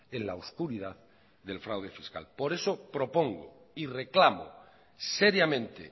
en la oscuridad del fraude fiscal por eso propongo y reclamo seriamente